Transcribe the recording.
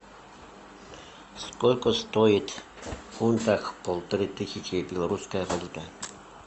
сколько стоит в фунтах полторы тысячи белорусская валюта